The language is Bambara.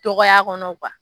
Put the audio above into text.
Tɔkɔya kɔnɔ